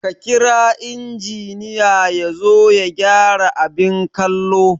Ka kira injiniya yazo ya gyara abin kallo